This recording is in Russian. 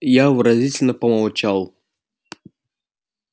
я выразительно помолчал